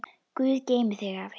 Guð geymi þig, afi.